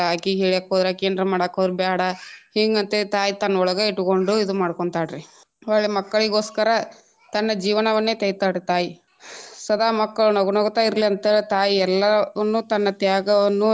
ಅಕಿಗ ಹೇಳಾಕ ಹೋದ್ರ ಅಕಿ ಏನರ ಮಾಡಾಕ ಹೋದ್ರ ಬ್ಯಾಡಾ ಹಿಂಗ ಅಂತೇಳಿ ತಾಯಿ ತನ್ನ ಒಳಗ ಇಟ್ಕೊಂಡು ಇದು ಮಾಡ್ಕೊಂತಾಳರೀ ಹೋಗ್ಲಿ ಮಕ್ಕಳಿಗೋಸ್ಕರ ತನ್ನ ಜೀವನವನ್ನೆ ತೆಯ್ತಾಳ ರೀ ತಾಯಿ ಸದಾ ಮಕ್ಕಳು ನಗು ನಗುತಾ ಇರ್ಲಿಯನ್ತೇಳಿ ತಾಯಿ ಎಲ್ಲವನ್ನು ತನ್ನ ತ್ಯಾಗವನ್ನು.